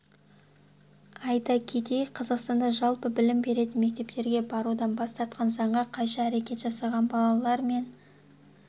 айта кетейік қазақстанда жалпы білім беретін мектептерге барудан бас тартқан заңға қайшы әрекет жасаған балалар мен